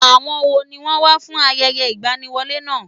Àwọn wo ni wọ́n wá fún ayẹyẹ ìgbaniwọlé náà?